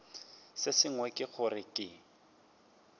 se sengwe ke gore ke